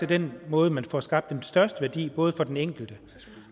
den måde man får skabt den største værdi på både for den enkelte